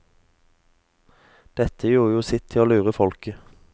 Dette gjorde jo sitt til å lure folket.